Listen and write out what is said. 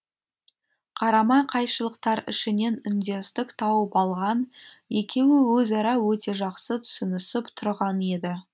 қарама қайшылықтар ішінен үндестік тауып алған екеуі өзара өте жақсы түсінісіп тұрған еді